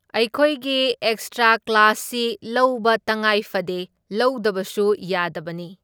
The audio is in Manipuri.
ꯑꯩꯈꯣꯏꯒꯤ ꯑꯦꯛꯁꯇ꯭ꯔꯥ ꯀ꯭ꯂꯥꯁꯤ ꯂꯧꯕ ꯇꯉꯥꯏ ꯐꯗꯦ, ꯂꯧꯗꯕꯁꯨ ꯌꯥꯗꯕꯅꯤ꯫